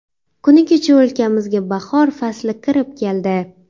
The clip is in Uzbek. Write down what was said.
Kuni kecha o‘lkamizga bahor fasli kirib keldi.